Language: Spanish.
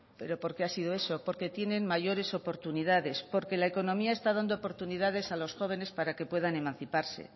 pero por qué ha sido eso porque tienen mayores oportunidades porque la economía está dando oportunidades a los jóvenes para que puedan emanciparse